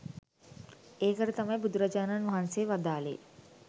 ඒකට තමයි බුදුරජාණන් වහන්සේ වදාළේ